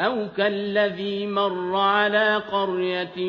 أَوْ كَالَّذِي مَرَّ عَلَىٰ قَرْيَةٍ